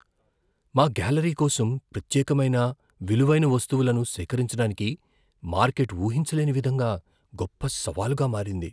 మా గ్యాలరీ కోసం ప్రత్యేకమైన, విలువైన వస్తువులను సేకరించడానికి మార్కెట్ ఊహించలేని విధంగా, గొప్ప సవాలుగా మారింది.